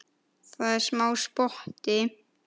Það er smá spotti.